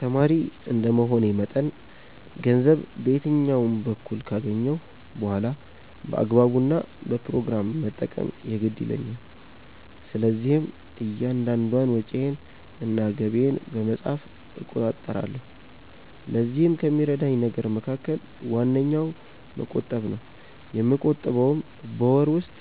ተማሪ እንደመሆኔ መጠን ገንዘብ በየትኛውም በኩል ካገኘሁ በኋላ በአግባቡ እና በፕሮግራም መጠቀም የግድ ይለኛል። ስለዚህም እያንዳንዷን ወጪዬን እና ገቢዬን በመጻፍ እቆጣጠራለሁ። ለዚህም ከሚረዳኝ ነገር መካከል ዋነኛው መቆጠብ ነው። የምቆጥበውም በወር ውስጥ